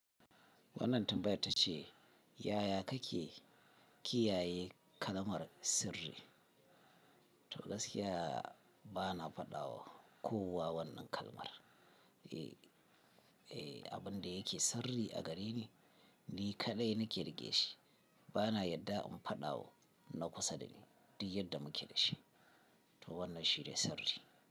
Wannan tambayar ta ce, yaya kake kiyaye kalamar sirri? To gaskiya bana faɗa wa kowa wannan kalmar. E, abin da yake sirri a gareni, ni kaɗai nake rike shi. Bana yadda in faɗa wa na kusa da ni duk yadda muke da shi. To wannan shi ne sirri.